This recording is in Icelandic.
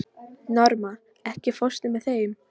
Norma, ekki fórstu með þeim?